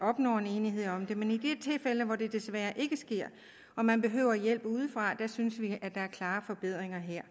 opnår en enighed om det men i de tilfælde hvor det desværre ikke sker og man behøver hjælp udefra synes vi at der er klare forbedringer her